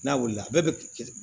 N'a wulila a bɛɛ bɛ